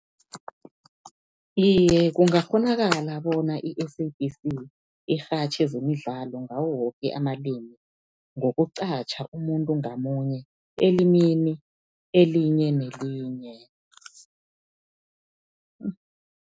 Iye, kuyakghonakala bona i-SABC irhatjhe zemidlalo ngawo woke amalimi ngokuqatjha umuntu ngamunye, elimini elinye nelinye.